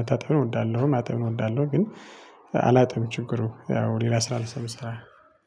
መታጠብን እወዳለሁ ማጠብን እወዳለሁ ግን አላጥብም ችግሩ ያው ሌላ ስራ ስለምሰራ